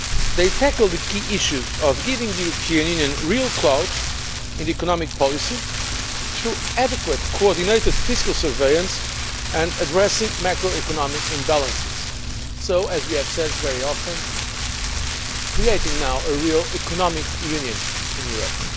They tackle the key issues of giving the European Union real clout in economic policy through adequate coordinated fiscal surveillance and addressing macro economic imbalances, so, as we have very often said, now creating a real economic Union in Europe.